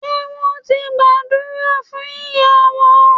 Ṣé wón ti gbàdúrà fún ìyàwó